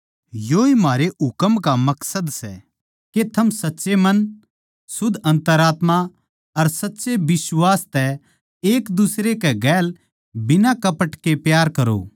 योए म्हारे हुकम का मकसद सै के थम सच्चे मन शुध्द अन्तरात्मा अर सच्चे बिश्वास तै एक दुसरे कै गेल बिना कपट के प्यार करो